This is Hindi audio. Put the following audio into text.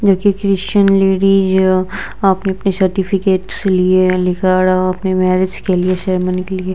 जो कि क्रिश्चियन लेडीज है अपने-अपने सर्टिफिकेट्स लिए लेकर अपने मैरेज के लिए सेरेमनी के लिए।